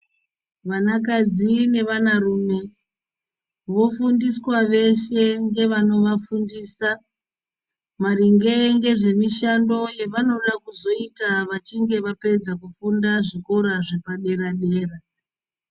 Vanakadzi nevanarume vofundiswa veshe ngevanovafundisa maringe ngezvemishando yavanode kuzoita vachinge vapedza kufunda kuzvikora zvepadera dera.